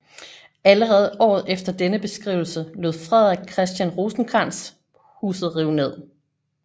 Allerede året efter denne beskrivelse lod Frederik Christian Rosenkrantz huset rive ned